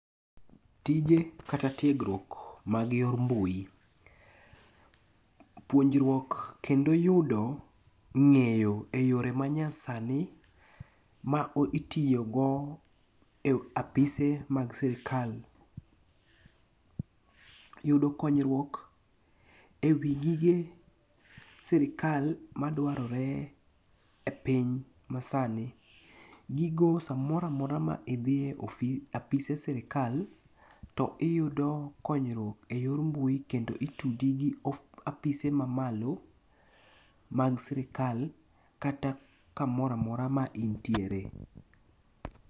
Tije kata tiegruok mag yor mbui. Puonjruok kendo yudo ng'eyo e yore manyasani ma itiyogo e apise mag sirkal. Yudo konyruok e wi gige sirkal madwarore e piny masani. Gigo samoro amora ma idhi e apise sirkal, to iyudo konyruok e yor mbui kendo itudi gi apise mamalo mag sirkal kata kamoro amora ma intiere.